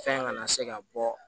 Fɛn kana se ka bɔ